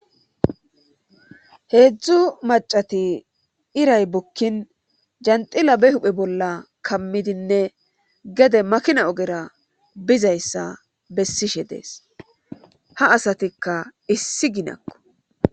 heedzdzu macati iray bukkin janxila be huphe bolla kammidinne gede makina ogera bizayssa bessishe dees ha asatikka issi ginakko